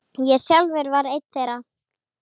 Ég sjálfur var einn þeirra.